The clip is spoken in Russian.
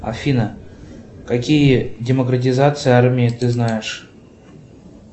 афина какие демократизации армии ты знаешь